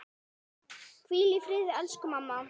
Hvíl í friði elsku mamma.